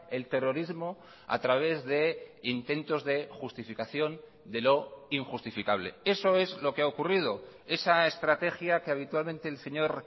el terrorismo a través de intentos de justificación de lo injustificable eso es lo que ha ocurrido esa estrategia que habitualmente el señor